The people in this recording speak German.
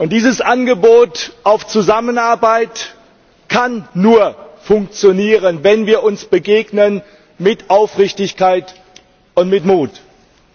Dieses Angebot zur Zusammenarbeit kann nur funktionieren, wenn wir uns mit Aufrichtigkeit und mit Mut begegnen.